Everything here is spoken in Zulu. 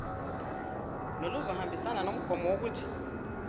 noluzohambisana nomgomo wokuthi